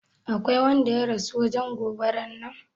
Aƙwai wanda ya rasu wajen goɓaran nan?